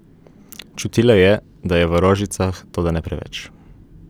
Čutila je, da je v rožicah, toda ne preveč.